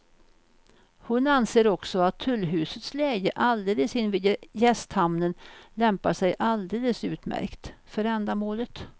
Hon anser också att tullhusets läge alldeles invid gästhamnen lämpar sig alldeles utmärkt för ändamålet.